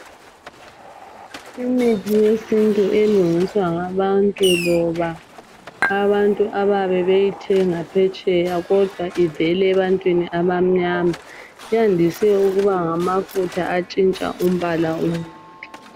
Imithi yesintu elungiswa ngabantu loba abantu abayabebeyithenga phetsheya kodwa ivela ebantwini abamnyama yandise ukuba ngamafutha atshintsha umbala womuntu.